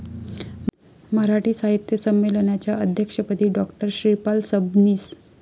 मराठी साहित्य संमेलनाच्या अध्यक्षपदी डॉ. श्रीपाल सबनीस